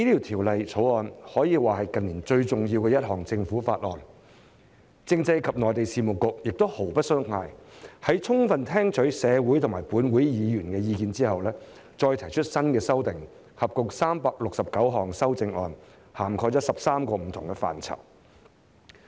《條例草案》可說是近年最重要的一項政府法案，政制及內地事務局亦毫不鬆懈，在充分聽取社會和立法會議員的意見後，再提出新修訂，合共369項修正案，涵蓋13個不同範疇。